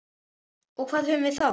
Og hvað höfum við þá?